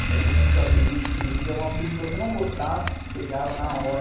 Essa questão dos apelidos, surgia um apelido que você não gostasse, pegava na hora.egava.